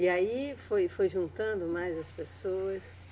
E aí foi, foi juntando mais as pessoas?